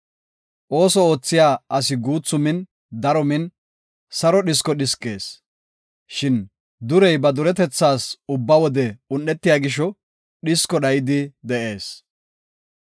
Ooso oothiya asi guuthu min daro min, saro dhisko dhiskees; shin durey ba duretethaas ubba wode un7etiya gisho dhisko dhayidi de7ees.